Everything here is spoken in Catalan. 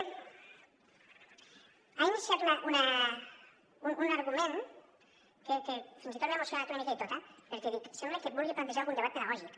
ha iniciat un argument que fins i tot m’he emocionat una mica i tot eh perquè dic sembla que vulgui plantejar algun debat pedagògic